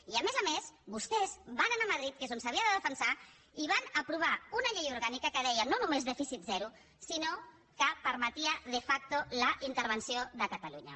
i a més a més vostès van anar a madrid que és on s’havia de defensar i van aprovar una llei orgànica que deia no només dèficit zero sinó que permetia de factovenció de catalunya